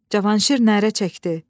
Cavanşir nərə çəkdi.